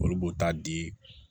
Olu b'o ta di